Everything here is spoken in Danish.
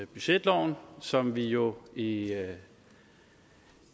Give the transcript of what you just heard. budgetloven som vi jo i